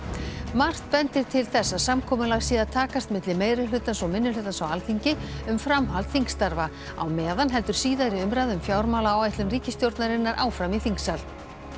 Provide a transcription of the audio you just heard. margt bendir til þess að samkomulag sé að takast milli meirihlutans og minnihlutans á Alþingi um framhald þingstarfa á meðan heldur síðari umræða um fjármálaáætlun ríkisstjórnarinnar áfram í þingsal